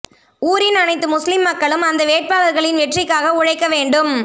ஊரிண் அனைத்து முஸ்லிம் மக்கலும் அந்த வேட்பளர்களிண் வெற்றிக்காக உழைக்க வேண்டும்